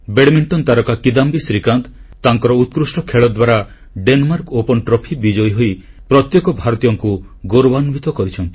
badminton ତାରକା କିଦାମ୍ବି ଶ୍ରୀକାନ୍ତ ତାଙ୍କର ଉତ୍କୃଷ୍ଟ ଖେଳ ଦ୍ୱାରା ଡେନମାର୍କ ଓପନ୍ ଟ୍ରଫି ବିଜୟୀ ହୋଇ ପ୍ରତ୍ୟେକ ଭାରତୀୟଙ୍କୁ ଗୌରବାନ୍ୱିତ କରିଛନ୍ତି